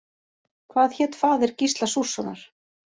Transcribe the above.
Hvað hét faðir Gísla Súrssonar?